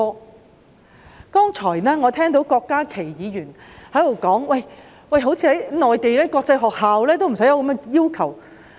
我剛才聽到郭家麒議員說，似乎連內地的國際學校也沒有這樣的要求。